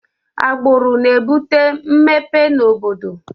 agbụrụ na-ebute mmepe na obodo